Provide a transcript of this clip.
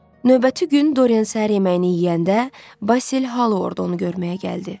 Növbəti gün Doryan səhər yeməyini yeyəndə Basil Halo orda onu görməyə gəldi.